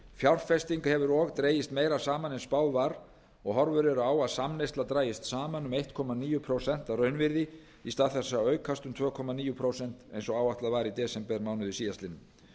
fjárfesting hefur og dregist meira saman en spáð var og horfur eru á að samneysla dragist saman um einn komma níu prósent að raunvirði í stað þess að aukast um tvö komma níu prósent eins og áætlað var í desembermánuði síðastliðnum